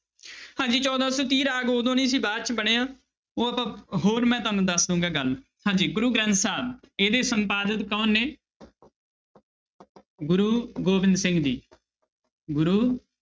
ਹਾਂਜੀ ਚੌਦਾਂ ਸੌ ਤੀਹ ਰਾਗ ਉਦੋਂ ਨੀ ਸੀ ਬਾਅਦ 'ਚ ਬਣਿਆ ਉਹ ਆਪਾਂ ਹੋਰ ਮੈਂ ਤੁਹਾਨੂੰ ਦੱਸ ਦਊਂਗਾ ਗੱਲ, ਹਾਂਜੀ ਗੁਰੂ ਗ੍ਰੰਥ ਸਾਹਿਬ ਇਹਦੇ ਸੰਪਾਦਕ ਕੌਣ ਨੇ ਗੁਰੂ ਗੋਬਿੰਦ ਸਿੰਘ ਜੀ ਗੁਰੂ